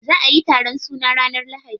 Za'a yi taron suna ranar lahadi.